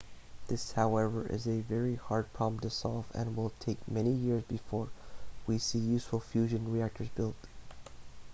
this however is a very hard problem to solve and will take many years before we see useful fusion reactors built